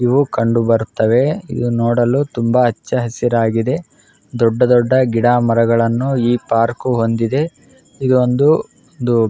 ಇವು ಕಂಡು ಭರುತ್ತವೆ ಇವು ನೋಡಲು ತುಂಬಾ ಹಚ್ಚ ಹಸಿರಾಗಿದೆ ದೊಡ್ಡ ದೊಡ್ಡ ಗಿಡ ಮರಗಳನ್ನು ಈ ಪಾರ್ಕ್ ಹೊಂದಿದೆ ಇದು ಒಂದು --